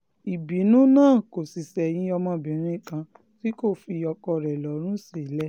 ìbínú náà kò sì ṣẹ̀yìn ọmọbìnrin kan tí kò fi ọkọ rẹ̀ lọ́rùn sílẹ̀